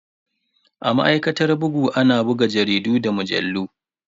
A ma'aikatar bugu ana buga jaridu da mujallu.